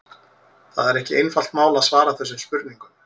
Það er ekki einfalt mál að svara þessum spurningum.